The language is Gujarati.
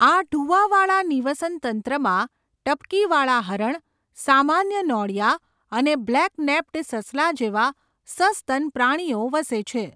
આ ઢુવાવાળા નિવસનતંત્રમાં ટપકીવાળા હરણ, સામાન્ય નોળિયા અને બ્લેક નેપ્ડ સસલા જેવા સસ્તન પ્રાણીઓ વસે છે.